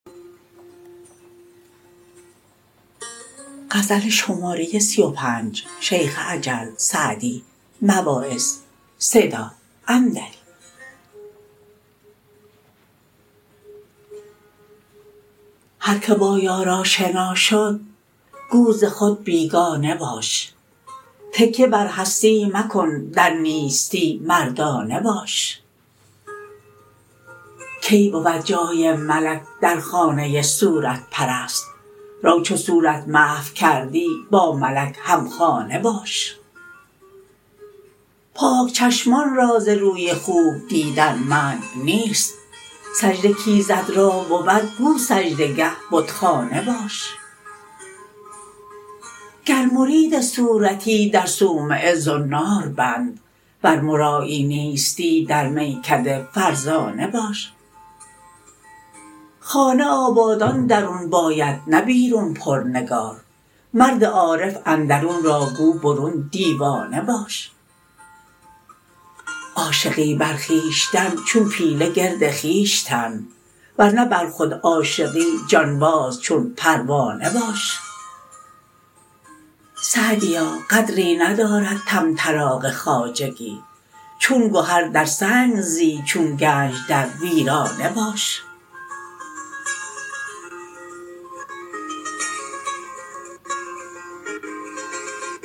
هر که با یار آشنا شد گو ز خود بیگانه باش تکیه بر هستی مکن در نیستی مردانه باش کی بود جای ملک در خانه صورت پرست رو چو صورت محو کردی با ملک همخانه باش پاک چشمان را ز روی خوب دیدن منع نیست سجده کایزد را بود گو سجده گه بتخانه باش گر مرید صورتی در صومعه زنار بند ور مرایی نیستی در میکده فرزانه باش خانه آبادان درون باید نه بیرون پر نگار مرد عارف اندرون را گو برون دیوانه باش عاشقی بر خویشتن چون پیله گرد خویش تن ور نه بر خود عاشقی جانباز چون پروانه باش سعدیا قدری ندارد طمطراق خواجگی چون گهر در سنگ زی چون گنج در ویرانه باش